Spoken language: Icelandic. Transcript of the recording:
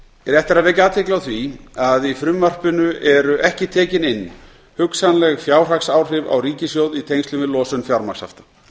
rétt er að vekja athygli á því að í frumvarpinu eru ekki tekin inn hugsanleg fjárhagsáhrif á ríkissjóð í tengslum við losun fjármagnshafta